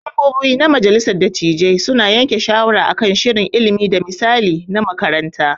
Membobi na majalissar dattijai su na yanke shawara akan shirin ilimi da misali na makaranta.